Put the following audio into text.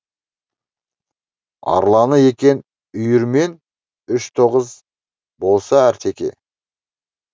арланы екен үйірімен үш тоғыз болсын артеке